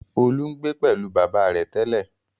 Olú ń gbé pẹ̀lú bàbá rẹ̀ tẹ́lẹ̀?